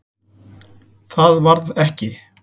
Það varð ekki.